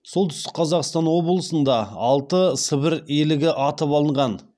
солтүстік қазақстан облысында алты сібір елігі атып алынған